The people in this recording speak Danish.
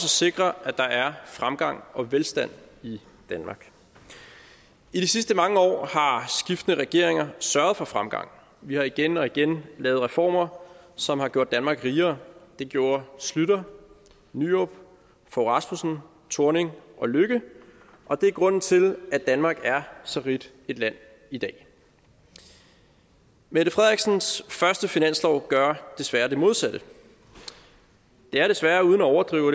sikre at der er fremgang og velstand i danmark i de sidste mange år har skiftende regeringer sørget for fremgang vi har igen og igen lavet reformer som har gjort danmark rigere det gjorde schlüter nyrup fogh rasmussen thorning og løkke og det er grunden til at danmark er så rigt et land i dag mette frederiksens første finanslov gør desværre det modsatte det er desværre uden at overdrive